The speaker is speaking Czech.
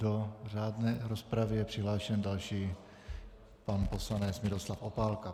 Do řádné rozpravy je přihlášen další pan poslanec Miroslav Opálka.